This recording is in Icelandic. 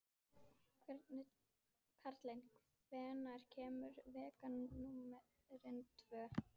Karli, hvenær kemur vagn númer tvö?